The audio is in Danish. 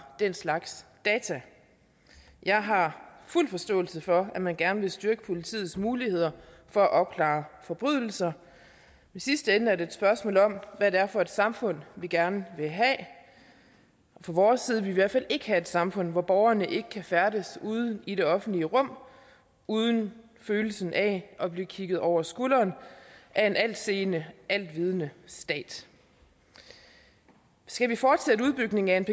den slags data jeg har fuld forståelse for at man gerne vil støtte politiets muligheder for at opklare forbrydelser i sidste ende er det et spørgsmål om hvad det er for et samfund vi gerne vil have fra vores side vil vi i hvert fald ikke have et samfund hvor borgerne ikke kan færdes i det offentlige rum uden følelsen af at blive kigget over skulderen af en altseende altvidende stat skal vi fortsætte udbygningen af